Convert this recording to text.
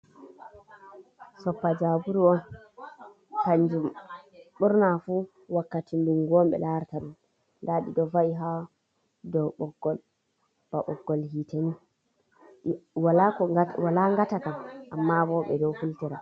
Soppa jaburu on kanjum ɓurna fu wakkati dungu on ɓe larata ɗum nda ɗiɗo va'i ha dou ɓoggol ba ɓoggol hiiteni wala ngata kam amma bo ɓe ɗo hultira.